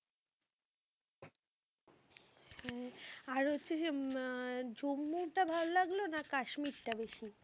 হ্যাঁ, আর হচ্ছে যে আহ জম্মুটা ভাল লাগলো না কাশ্মীরটা বেশি?